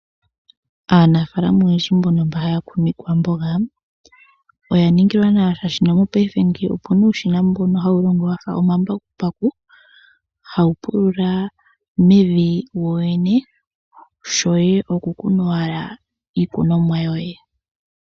Aanafalama oyendji mbono haya kunu iikwamboga oya ningilwa nawa shashi mopaife ngeyi opuna uushina mbono hawu longo wafa omambakumbaku, hawu pulula mevi wowene . Shoye oku kuna owala iikunomwa yoye.